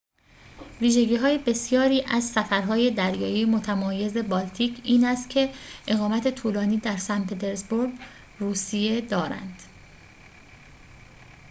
ویژگی بسیاری از سفرهای دریایی متمایز بالتیک این است که اقامت طولانی در سن پترزبورگ روسیه دارند